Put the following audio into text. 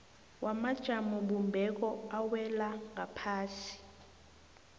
wamajamobumbeko awela ngaphasi